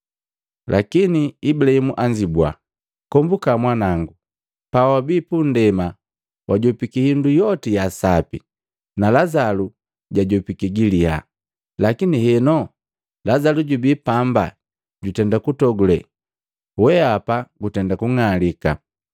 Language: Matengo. Lakini Ibulahimu anzibua, ‘Kombuka mwanango, pawabii punndema wajopiki hindu yoti ya sapi, na Lazalo jajopiki giliya. Lakini henu Lazalu jubii pamba jutenda kutogule weapa gutenda kung'alika.